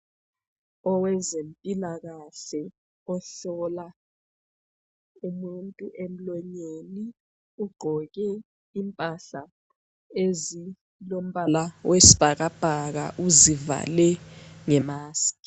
Owezempilakahle ohlola umuntu emlonyeni ugqoke impahla ezilombala wesibhakabhaka uzivale nge-mask.